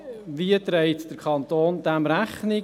Wie trägt der Kanton dem Rechnung?